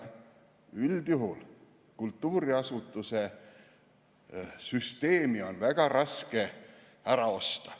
Üldjuhul on kultuuriasutuste süsteemi ka väga raske ära osta.